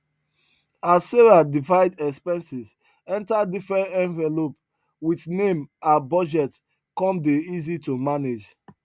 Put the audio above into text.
as sarah divide expenses enter different envelope with name her budget come dey easy to manage